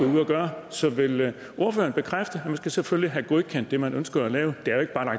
ud og gøre så vil ordføreren bekræfte at man selvfølgelig skal have godkendt det man ønsker at lave